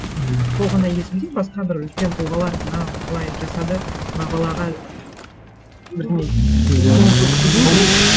м сол ғана есімде басқа бір үлкен тұлғалар мынау былай жасады мына балаға бірдеңе